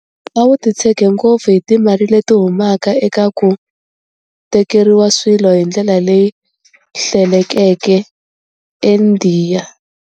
A wu titshege ngopfu hi timali leti humaka eka ku tekeriwa swilo hi ndlela leyi hlelekeke eIndiya.